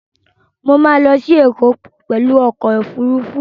Mo ma lọ sí Ẹ̀kọ́ pẹ̀lú ọkọ̀ Òfurufú